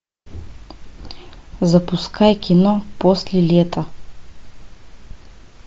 запускай кино после лета